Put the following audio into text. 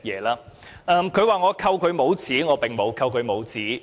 他說我扣他帽子，我並沒有扣他帽子。